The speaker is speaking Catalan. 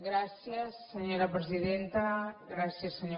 gràcies senyora presidenta gràcies senyor conseller